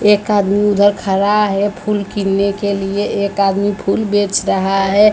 एक आदमी उधर खड़ा है फूल गिनने के लिए एक आदमी फूल बेच रहा है।